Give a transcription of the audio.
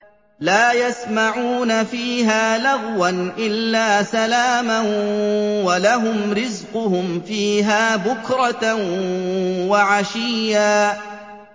لَّا يَسْمَعُونَ فِيهَا لَغْوًا إِلَّا سَلَامًا ۖ وَلَهُمْ رِزْقُهُمْ فِيهَا بُكْرَةً وَعَشِيًّا